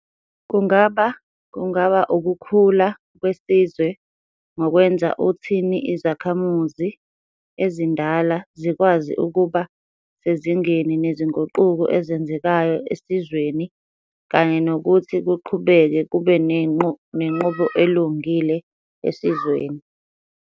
kungaba kungaba ukukhula kwesizwe ngokwenza uuthhi izakhamizi ezindala zikwazi ukuba sezingeni nezinguquko ezenzekayo esizweni kanye nokuthi kuqhubeke kube nenqubo elungile esizweni.